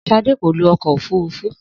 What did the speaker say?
Sadé kò lo ọkọ òfurufú